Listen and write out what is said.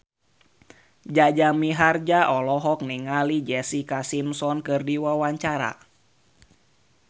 Jaja Mihardja olohok ningali Jessica Simpson keur diwawancara